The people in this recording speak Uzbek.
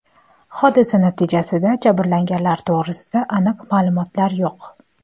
Hodisa natijasida jabrlanganlar to‘g‘risida aniq ma’lumotlar yo‘q .